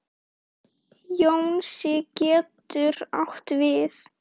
Jónsi getur átt við